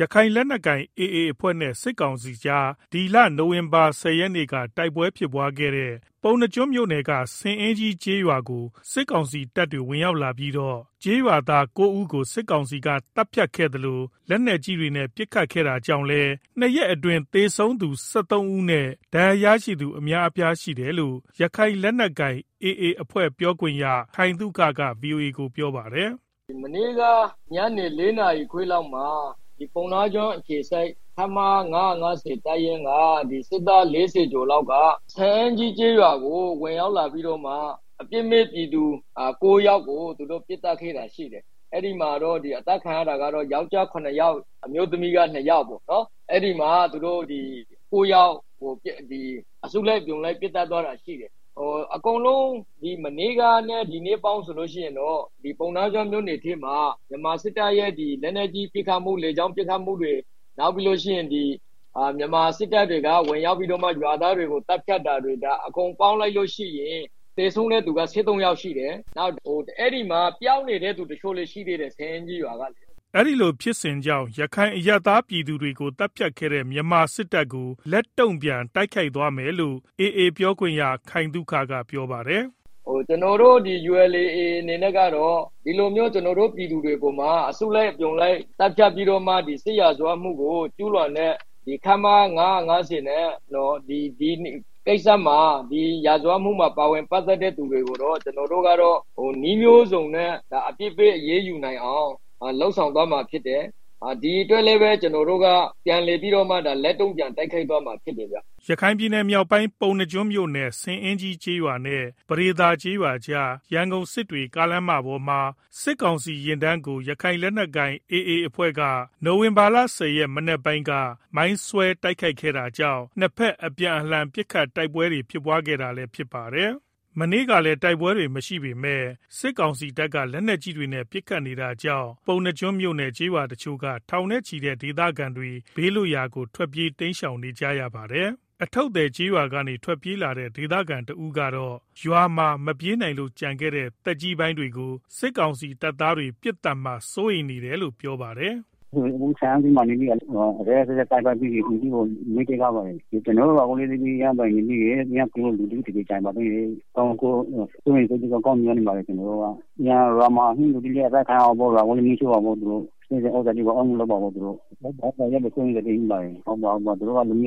ရခိုင်လက်နက်ကိုင် AAအဖွဲ့နဲ့ စစ်ကောင်စီကြား မနေ့က တိုက်ပွဲဖြစ်ပွားခဲ့တဲ့ ပုဏ္ဏားကျွန်းမြို့နယ်က ဆင်အင်းကြီး ကျေးရွာသား စစ်ကောင်တပ်တွေဝင်ရောက်ပြီးတော့ ကျေးရွာသား ၉ဦးကို စစ်ကောင်စီ သတ်ဖြတ်ခဲ့သလို လက်နက်ကြီးတွေနဲ့ ပစ်ခတ်ခဲ့တာကြောင့် ၂ရက်အတွင်း သေဆုံးသူ ၁၃ဦးနဲ့ ဒဏ်ရာရသူ အများအပြား ရှိတယ်လို့ ရခိုင်လက်နက်ကိုင် AAအဖွဲ့ ပြောခွင့်ရ ခိုင်သုခက ဗွီအိုအေကို ပြောပါတယ်။ “ မနေ့က ညနေ ၄နာရီခွဲလောက်မှာ ပုဏ္ဏားကျွန်းအခြေစိုက် ခမရ ၅၅၀ တပ်ရင်းက စစ်သား ၄၀ကျော်လောက်က ဆင်အင်းကြီးကျေးရွာကို ဝင်ရောက်လာပြီးတော့ အပြစ်မဲ့ ပြည်သူ ၉ယောက်ကို ပစ်ခတ်ခဲ့တာရှိတယ်။ အသတ်ခံရသူတွေထဲမှာတော့ ယောကျာ်း ၇ယောက် အမျိုးသမီး ၂ယောက်ပေါ့။ ၉ယောက်ကို အစုလိုက် အပြုံလိုက် ပစ်သတ်သွားတာရှိတယ်၊ အကုန်လုံး မနေ့ကနဲ့ ဒီနေ့ ပေါင်းဆိုရင် ပုဏ္ဏားကျွန်းမြို့နယ်မှာ မြန်မာစစ်တပ်ရဲ့ လက်နက်ကြီးပစ်ခတ်မှု လေကြောင်းပစ်ခတ်မှု မြန်မာစစ်သားတွေ ဝင်ရောက်ပြီးတော့ သတ်ဖြတ်တာတွေ အကုန်ပေါင်းလိုက်ရင် သေဆုံးသူ ၁၃ ဦးအထိရှိတယ်။ နောက်အဲဒီမှာ ပျောက်နေတဲ့ လူတချို့လည်းရှိသေးတယ်။ ဆင်အင်းကြီးရွာကလေ။” အခုလို ရခိုင်အရပ်သား ပြည်သူတွေကို သတ်ဖြတ်ခဲ့တဲ့ မြန်မာစစ်တပ်ကို လက်တုန့်ပြန် တိုက်ခိုက်သွားမှာဖြစ်တယ်လို့ AAပြောခွင့်ရ ခိုင်သုခကပြောပါတယ်။ “ ကျနော်တို့ ULA/AAအနေနဲ့ကတော့ ဒီလိုမျိုး ကျနော်တို့ ပြည်သူတွေအပေါ် အစုလိုက် အပြုံလိုက်သတ်ဖြတ်ပြီးတော့မှ စစ်ရာဇဝတ်မှုကို ကျူးလွန်တဲ့ ခမရ ၅၅၀ ဒီရာဇဝတ်မှုမှာပါဝင် ပတ်သတ်တဲ့သူတွေကိုတော့ ကျနော်တို့ကတော့ နည်းမျိုးစုံနဲ့ အပြစ်ပေး အရေးယူနိုင်အောင် လုပ်ဆောင်သွားမှာဖြစ်တယ်။ ဒီအတွက်လည်း ကျနော်တို့က ပြန်ပြီးတော့ လက်တုန့်ပြန် တိုက်ခိုက် သွားမှာဖြစ်တယ်။” ရခိုင်မြောက်ပိုင်း ပုဏ္ဏားကျွန်းမြို့နယ် ဆင်အင်းကြီးကျေးရွာနဲ့ ပဒေသာကျေးရွာကြား ရန်ကုန်-စစ်တွေ ကားလမ်းမပေါ်မှာ စစ်ကောင်စီယာဉ်တန်းကို ရခိုင်လက်နက်ကိုင် AA အဖွဲ့ ဖက်က မနေ့မနက်ပိုင်းက မိုင်းဆွဲတိုက်ခိုက်ခဲ့တာကြောင့် ၂ ဘက် အပြန်အလှန် ပစ်ခတ် တိုက်ပွဲဖြစ်ပွားခဲ့ တာလည်းဖြစ် ပါတယ်။ ဒီကနေ့မှာလည်း တိုက်ပွဲတွေ မရှိပေမဲ့ စစ်ကောင်စီတပ်က လက်နက်ကြီးတွေနဲ့ ပစ်ခတ်နေတာကြောင့် ပုဏ္ဏားမြို့နယ် ကျေးရွာတချို့က ထောင်နဲ့ချီတဲ့ဒေသခံတွေ ဘေးလွတ်ရာကို ထွက်ပြေးတိမ်းရှောင်နေကြရပါတယ်။ အထုပ်သည်ကျေးရွာကနေ ထွက်ပြေးလာတဲ့ ဒေသခံတဦးကတော့ ရွာမှာ မပြေးနိုင်လို့ ကျန်ခဲ့တဲ့ သက်ကြီးပိုင်တွေကို စစ်ကောင်စီတပ်သားတွေ ပစ်သတ်မှာ စိုးရိမ်နေရတယ်လို့ ပြောပါတယ်။ “ အခု ဆင်အင်းကြီးမှာ ရက်ရက်စက်စက်သတ်ပြီးတော့ အိမ်တွေကို မီးရှို့ခဲ့တယ်။ ကျနော်တို့ရွာမှာလည်း လူတွေ ကျန်နေခဲ့တော့ ရွာကို မီးရှို့မှာကျန်နေခဲ့တဲ့ လူတွေကို သတ်ဖြတ်မှာ သူတို့က အဲဒါတွေကို ကျနော်တို့စိုးရိမ်တယ်။ သူတို့က လူမျိ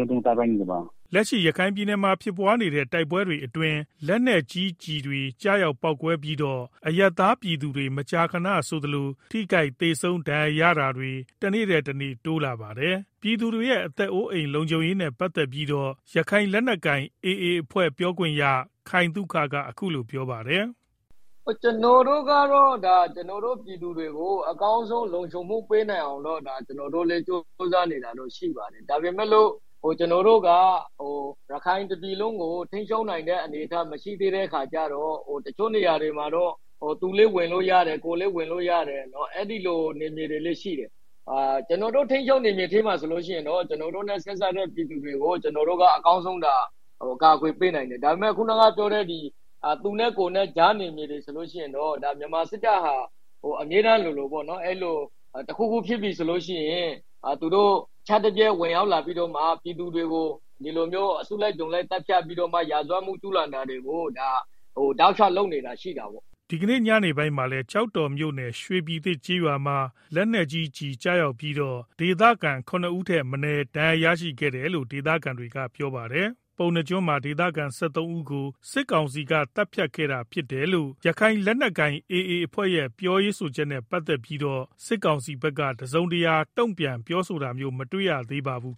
ုးတုန်းအောင် သတ်ဖြတ်နေတာ။” လက်ရှိ ရခိုင်ပြည်နယ်မှာ ဖြစ်ပွားနေတဲ့ တိုက်ပွဲတွေ အတွင်းမှာ လက်နက်ကြီးတွေကျည် တွေ ကျရောက်ပေါက်ကွဲပြီးတော့ အရပ်သားပြည်သူတွေ မကြာခဏဆိုသလို ထိခိုက်သေဆုံး ဒဏ်ရာရတာတွေ တနေ့ထက်တနေ့ တိုးလာနေတာပါ။ ပြည်သူတွေရဲ့ အသက်အိုးလုံခြုံရေးနဲ့ ပတ် သတ်ပြီးတော့ ရခိုင်လက်နက်ကိုင်AAအဖွဲ့ပြောခွင့်ရ ခိုင်သုခက အခုလိုပြောပါတယ်။ “ ကျနော်တို့ကတော့ ကျနော်တို့ ပြည်သူတွေကို အကောင်းဆုံးလုံခြုံမှုပေးနိုင်အောင်တော့ ကျနော်တို့ ကြိုးစားနေတာတော့ရှိပါတယ်။ ဒါပေမယ့် ကျနော်တို့က ရခိုင်တပြည်လုံးကို ထိန်းချုပ်နိုင်တဲ့ အနေအထားမရှိသေးတဲ့ အခါကျတော့ တချို့နေရာတွေကတော့ သူလည်း ဝင်လို့ရတယ် ကိုယ်လည်းဝင်လို့ရတယ် အဲဒီလို နယ်မြေတွေလည်းရှိတယ်၊ ကျနော်တို့ထိန်း ချုပ်နယ်မြေထဲမှာဆိုရင်တော့ ကျနော်တို့ပြည်သူတွေကို အကောင်းဆုံး ကာကွယ်ပေးနိုင်တယ်။ ဒါပေမယ့် သူနဲ့ကိုယ်နဲ့ ကြားနယ်မြေတွေဆိုရင် တခုခုဖြစ်ရင် မြန်မာစစ်တပ်ဟာ ရုတ်တရက် ဝင်ရောက်လာ ပြီးတော့ ပြည်သူတွေကို အစုလိုက်အပြုံလိုက် သတ်ဖြတ်ပြီးတော့ ရာဇဝတ်မှုကျူးလွန်တာတွေကို တောက်လျောက်လုပ်နေတာရှိတာပေါ့။” ဒီနေ့ညနေပိုင်းလည်း ကျောက်တော်မြို့နယ် ရွေပြည်သစ်ကျေးရွာမှာ လက်နက်ကြီးကျည် ကျရောက်ပြီးတော့ ဒေသခံ ၇ဦးထက်မနည်း ဒဏ်ရာရရှိခဲ့တယ်လို့ ဒေသခံတွေက ပြောပါတယ်။ ပုဏ္ဏားကျွန်းမှာ ဒေသခံ ၁၃ဦးကို စစ်ကောင်စီက သတ်ဖြတ်ခဲ့တာဖြစ်တယ်လို့ ရခိုင်လက်နက်ကိုင်AAအဖွဲ့ရဲ့ ပြောဆိုချက်နဲ့ ပတ်သတ်ပြီး စစ်ကောင်စီဘက်က တစုံတရာ တုန့်ပြန်ပြောဆိုတမျိုးမတွေ့ရသေးပါဘူး